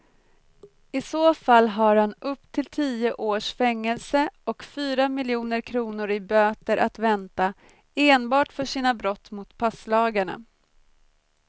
I så fall har han upp till tio års fängelse och fyra miljoner kronor i böter att vänta enbart för sina brott mot passlagarna.